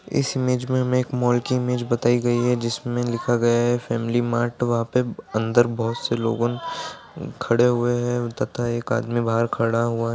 इस इमेज में हमे एक मॉल की इमेज बताई गई है जिसमें लिखा गया है फैमिली मार्ट वहाँ पे अंदर बहुत से लोगो खड़े हुए है तथा एक आदमी बाहर खड़ा हुआ है।